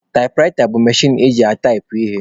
Taịpụraịta bụ mechin eji ataipụ ihe.